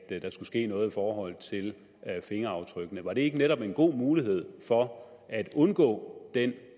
at der skulle ske noget i forhold til fingeraftrykkene var det ikke netop en god mulighed for at undgå den